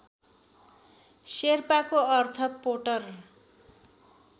शेर्पाको अर्थ पोटर